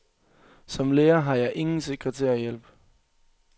Som lærer har jeg ingen sekretærhjælp.